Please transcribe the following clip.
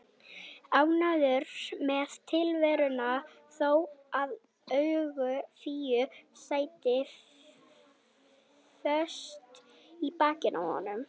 Ánægður með tilveruna þó að augu Fíu sætu föst í bakinu á honum.